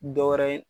Dɔ wɛrɛ ye